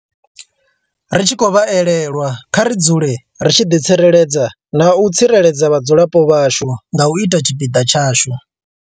Ri tshi khou vha elelwa, kha ri dzule ri tshi ḓi tsireledza na u tsireledza vhadzulapo vhashu nga u ita tshipiḓa tshashu.